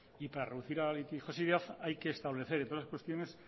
y para reducir la litigiosidad hay que establecer entre otras cuestiones